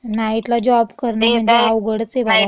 नाईटला जॉब करणं म्हणजे अवघडच ये बाई महिलांसाठी.